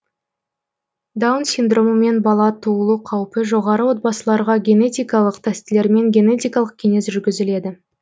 даун синдромымен бала туылу қаупі жоғары отбасыларға генетикалық тестілермен генетикалық кеңес жүргізіледі